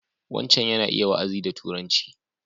Wancan yana iya wa'azi da Turanci.